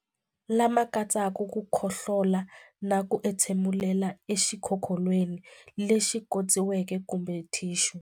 Lama katsaka ku khohlola na ku entshemulela exikokolweni lexi khotsiweke kumbe thixu.